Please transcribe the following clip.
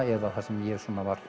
eða sem ég